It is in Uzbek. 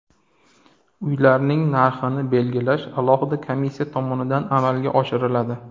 Uylarning narxlarini belgilash alohida komissiya tomonidan amalga oshiriladi.